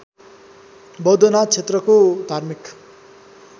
बौद्धनाथ क्षेत्रको धार्मिक